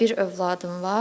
Bir övladım var.